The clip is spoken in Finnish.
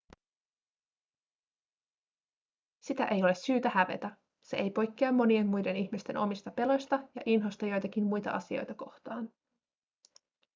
sitä ei ole syytä hävetä se ei poikkea monien muiden ihmisten omista peloista ja inhosta joitakin muita asioita kohtaan